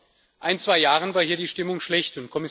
Vor ein, zwei Jahren war hier die Stimmung schlecht.